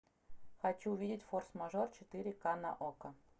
хочу увидеть форс мажор четыре ка на окко